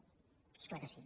és clar que sí